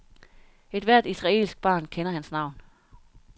Ethvert israelsk barn kender hans navn.